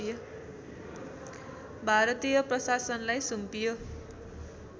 भारतीय प्रशासनलाई सुम्पियो